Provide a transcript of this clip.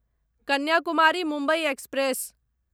Kanyakumari Mumbai express